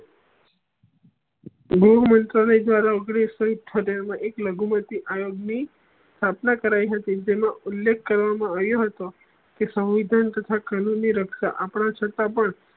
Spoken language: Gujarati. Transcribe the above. જયારે ઓઘ્નીશ સૌ ઇત્થોતેર મા એક લઘુમતી આયોગ ની સ્થાપના કરાય હતી જેનો ઉલેખ કરવા મા આયો હતી કે સંવિધાન તથા ની રક્ષા આપળે છતાં પણ